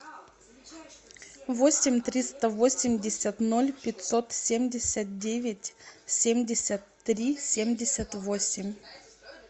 восемь триста восемьдесят ноль пятьсот семьдесят девять семьдесят три семьдесят восемь